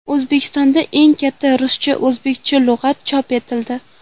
O‘zbekistonda eng katta ruscha-o‘zbekcha lug‘at chop etildi.